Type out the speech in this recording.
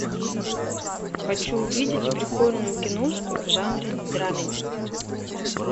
хочу увидеть прикольную киношку в жанре драмеди